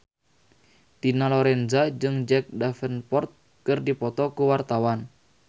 Dina Lorenza jeung Jack Davenport keur dipoto ku wartawan